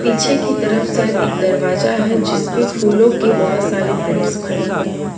पीछे की तरफ शायद एक दरवाजा है जिसपे फूलों के बहोत सारे प्रिंट्स बने हुए हैं।